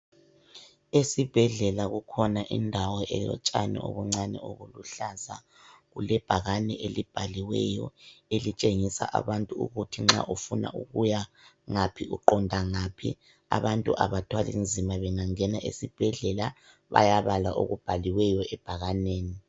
Esibhedlela kukhona indawo elotshani obuncani obuluhlaza. Kulebhakani elibhaliweyo elitshengisa abantu ukuthi nxa ufuna ukuya ngaphi uqondangaphi. Abantu abathwalinzima bengangena esibhedlela, bayabala okubhaliweyo ebhakaneni.